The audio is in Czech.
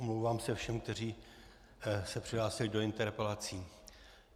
Omlouvám se všem, kteří se přihlásili do interpelací.